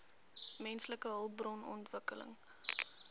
menslike hulpbron ontwikkeling